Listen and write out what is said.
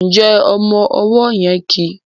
Njé ọmọ ọwó yen kí?